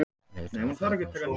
Leitað að feðgum á Suðurlandi